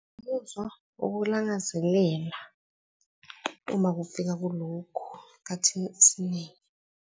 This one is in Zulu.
Umuzwa ukulangazelela uma kufika kulokhu ekhathini esiningi.